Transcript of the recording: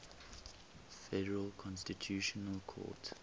federal constitutional court